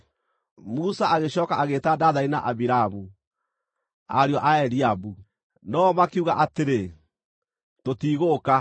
Musa agĩcooka agĩĩta Dathani na Abiramu, ariũ a Eliabu. No-o makiuga atĩrĩ, “Tũtigũũka!